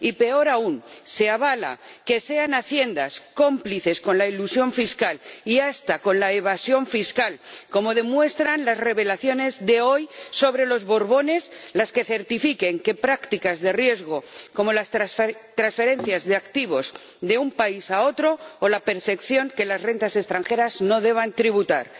Y peor aún, se avala que sean Haciendas cómplices con la elusión fiscal y hasta con la evasión fiscal —como demuestran las revelaciones de hoy sobre los Borbones— las que certifiquen que prácticas de riesgo, como las transferencias de activos de un país a otro, no deban tributar, o la percepción de que las rentas extranjeras tampoco deban hacerlo.